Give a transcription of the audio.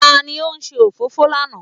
Ta ni ó ṣe òfófó lánàá?